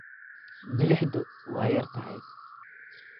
milixdu way yar tahay.